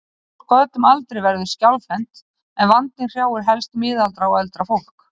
Fólk á öllum aldri verður skjálfhent en vandinn hrjáir helst miðaldra og eldra fólk.